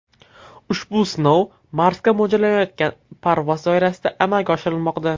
Ushbu sinov Marsga mo‘ljallanayotgan parvoz doirasida amalga oshirilmoqda.